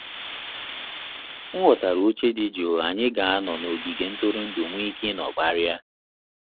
M ghọtara oche dị jụụ anyị ga anọ n'ogige ntụrụndu nweike ịnọ kparia